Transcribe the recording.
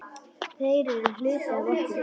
Þeir eru hluti af okkur.